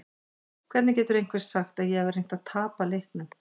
Hvernig getur einhver sagt að ég hafi reynt að tapa leiknum?